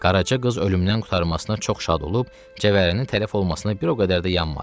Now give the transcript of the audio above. Qaraca qız ölümdən qurtarmasına çox şad olub cəvərinin tələf olmasına bir o qədər də yanmadı.